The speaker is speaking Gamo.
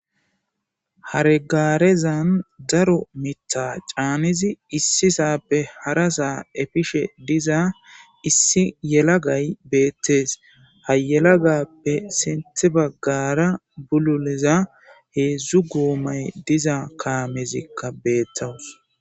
Hare gaarezan daro mitha caanidi issisaappe harasa efishe diza issi yalagay beettes. Ha yalagaape sinthi baggara bululiza heedzu goomay diza kaamezikka beettaws.